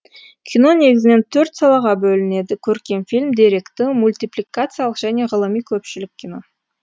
кино негізінен төрт салаға бөлінеді көркем фильм деректі мультипликациялық және ғылыми көпшілік кино